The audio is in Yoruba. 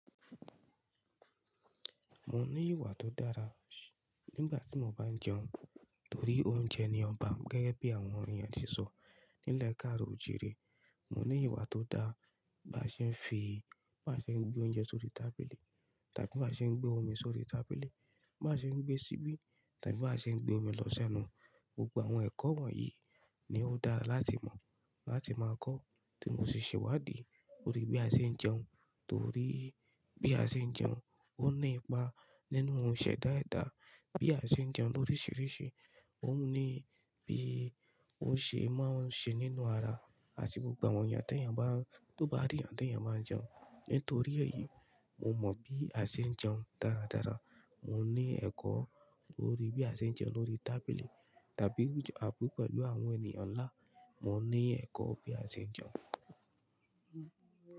Mo ní ìwà tó dára nígbà tí mo bá ń jẹun, torí oúnjẹ ni ọba gẹ́gẹ́ bí àwọn ènìyàn tí sọ. Ní ilẹ̀ káàro òojìre, mo ní ìwà tó dára bá ṣe ń fi, bá ṣe ń gbé oúnjẹ sórí tábìlì, tàbí bá ṣe ń gbé omi sórí tábìlì, bá ṣe ń gbé ṣíbí, tàbí bá ṣe ń gbé omi lọ sẹ́nu. Gbogbo àwọn ẹ̀kọ́ wọ̀nyí ni ó dára láti mọ̀, láti máa kọ́ tí mo si ṣe wádìí lórí bí a ṣe ń jẹun. Torí bí a ṣe ń jẹun, ó ní ipa nínú ohun ìṣẹ̀dá ẹ̀dá. Bí a ṣe ń jẹun lóríṣiríṣi, ó ní bí ó ṣe máa n ṣe nínú ara àti gbogbo àwọn ènìyàn t'eeyan ba n tó bá rí eeyàn t'eeyan bá n jẹun. Nítorí èyí, mo mọ bí a ṣe ń jẹun dáradára. Mo ní ẹ̀kọ́ lórí bí a ṣe ń jẹun lórí tábìlì tàbí àbú pẹ́lu àwọn ènìyàn ńlá. Mo ní ẹ̀kọ́ bí a ṣe ń jẹun.